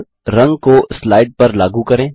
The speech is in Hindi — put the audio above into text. अब रंग को स्लाइड पर लागू करें